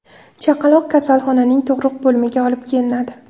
Chaqaloq kasalxonaning tug‘ruq bo‘limiga olib kelinadi.